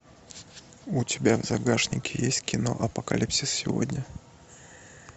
у тебя в загашнике есть кино апокалипсис сегодня